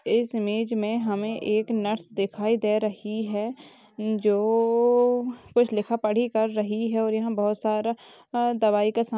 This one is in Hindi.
इस इमेज मे हमे एक नर्स दिखाई दे रही हैं जो कुछ लिखा पड़ी कर रही हैं और यहाँ बहुत सारा दवाई का सा--